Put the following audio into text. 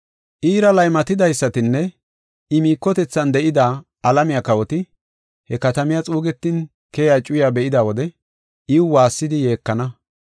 “Iira laymatidaysatinne I miikotethan de7ida, alamiya kawoti he katamiya xuugetin keyiya cuyaa be7ida wode iw waassidi yeekana.